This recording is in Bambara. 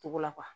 Togo la